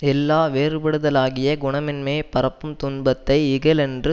எல்லா வேறுபடுதலாகிய குணமின்மையைப் பரப்பும் துன்பத்தை இகலென்று